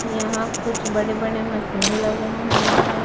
यहां कुछ बड़े बड़े मशीन लगे हुए हैं।